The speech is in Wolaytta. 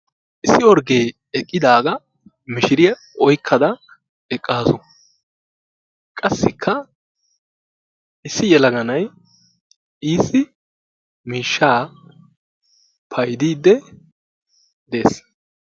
Issi orgge eqqidaaga mishiriyaa oykkada eqqaasu. Qassikka issi yelagaanay issi miishshaa payddidde dees.